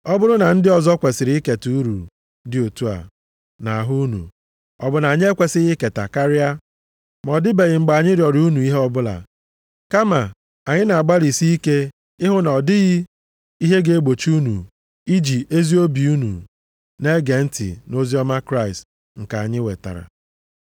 Ọ bụrụ na ndị ọzọ kwesiri iketa uru dị otu a nʼahụ unu, ọ bụ na anyị ekwesighị iketa karịa? Ma ọ dịbeghị mgbe anyị rịọrọ unu ihe ọbụla, kama anyị na-agbalịsị ike ịhụ na ọ dịghị ihe ga-egbochi unu iji ezi obi na-ege ntị nʼoziọma Kraịst nke anyị wetara.